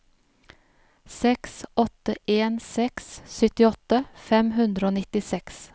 seks åtte en seks syttiåtte fem hundre og nittiseks